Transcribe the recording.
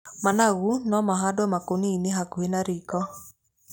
Managu no mahandwo makũnia-inĩ hakuhĩ na riko.